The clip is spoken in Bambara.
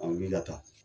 An wuli ka taa